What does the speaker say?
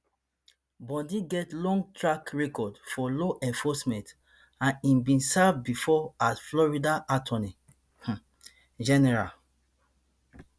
bondi get long track record for law enforcement and im bin serve bifor as florida attorney um general